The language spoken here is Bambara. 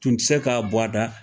Tun tɛ se k'a bɔ a da.